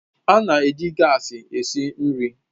A na-eji gaasi esi nri